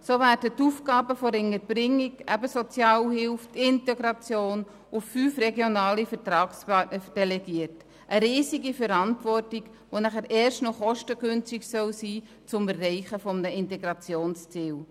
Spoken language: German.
So werden die Aufgaben der Unterbringung, der Sozialhilfe und der Integration an fünf regionale Vertragspartner delegiert, eine riesige Verantwortung zum Erreichen eines Integrationsziels, das dann erst noch kostengünstig sein soll.